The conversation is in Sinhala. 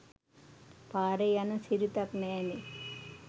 පාරේ යන සිරිතක් නෑනේ